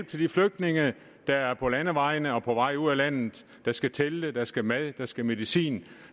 til de flygtninge der er på landevejene og på vej ud af landet der skal telte der skal mad der skal medicin